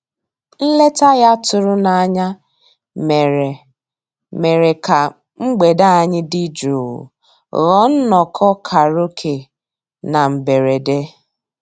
Nlétà ya tụ̀rù n'ányá mèrè mèrè kà mgbede ànyị́ dị́ jụ́ụ́ ghọ́ọ́ nnọ́kọ́ kàráòké na mbèredè.